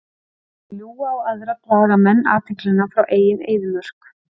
Með því að ljúga á aðra draga menn athyglina frá eigin eyðimörk.